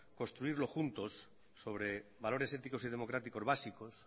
construirlo juntos sobre valores éticos y democráticos básicos